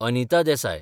Anita Desai